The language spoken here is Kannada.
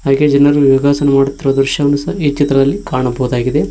ಹಾಗೆ ಜನರು ಯೋಗಾಸನ ಮಾಡುತ್ತಿರುವ ದೃಶ್ಯವನ್ನು ಈ ಚಿತ್ರದಲ್ಲಿ ಕಾಣಬಹುದಾಗಿದೆ.